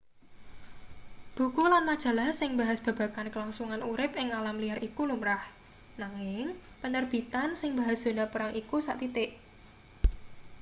buku lan majalah sing mbahas babagan kelangsungan urip ing alam liar iku lumrah nanging penerbitan sing mbahas zona perang iku sathithik